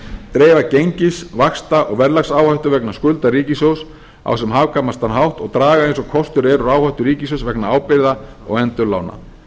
dreifa gengis vaxta og verðlagsáhættu vegna skulda ríkissjóðs á sem hagkvæmastan hátt og draga eins og kostur er úr áhættu ríkissjóðs vegna ábyrgða og endurlána